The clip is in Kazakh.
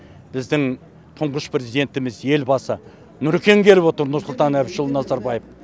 біздің тұңғыш президентіміз елбасы нұрекең келіп отыр нұрсұлтан әбішұлы назарбаев